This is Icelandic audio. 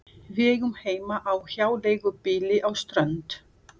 Við eigum heima á hjáleigubýli á Strönd.